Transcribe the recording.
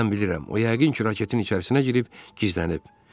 Mən bilirəm, o yəqin ki, raketin içərisinə girib gizlənib.